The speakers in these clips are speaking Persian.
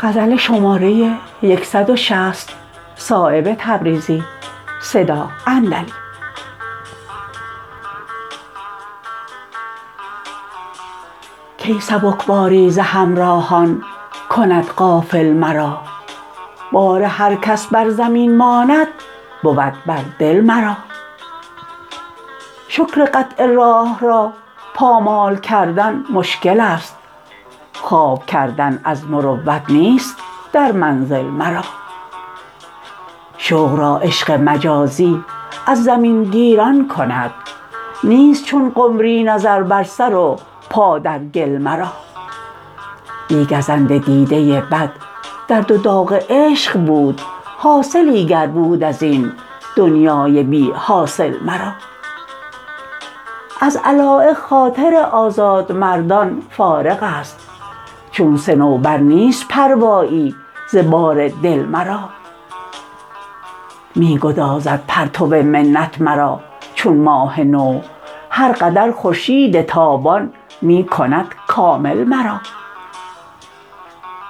کی سبکباری ز همراهان کند غافل مرا بار هر کس بر زمین ماند بود بر دل مرا شکر قطع راه را پامال کردن مشکل است خواب کردن از مروت نیست در منزل مرا شوق را عشق مجازی از زمین گیران کند نیست چون قمری نظر بر سر و پا در گل مرا بی گزند دیده بد درد و داغ عشق بود حاصلی گر بود ازین دنیای بی حاصل مرا از علایق خاطر آزادمردان فارغ است چون صنوبر نیست پروایی ز بار دل مرا می گدازد پرتو منت مرا چون ماه نو هر قدر خورشید تابان می کند کامل مرا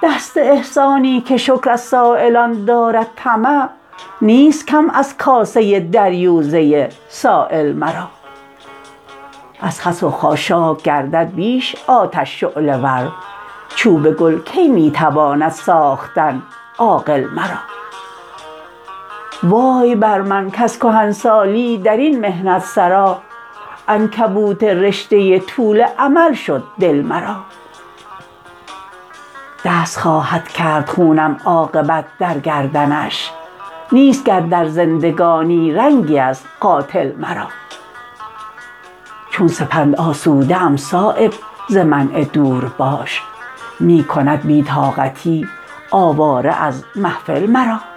دست احسانی که شکر از سایلان دارد طمع نیست کم از کاسه دریوزه سایل مرا از خس و خاشاک گردد بیش آتش شعله ور چوب گل کی می تواند ساختن عاقل مرا وای بر من کز کهنسالی درین محنت سرا عنکبوت رشته طول امل شد دل مرا دست خواهد کرد خونم عاقبت در گردنش نیست گر در زندگانی رنگی از قاتل مرا چون سپند آسوده ام صایب ز منع دور باش می کند بی طاقتی آواره از محفل مرا